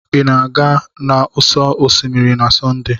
Ị na-aga n'ụsọ osimiri na Sọnde?